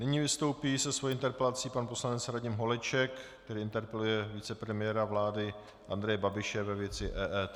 Nyní vystoupí se svou interpelací pan poslanec Radim Holeček, který interpeluje vicepremiéra vlády Andreje Babiše ve věci EET.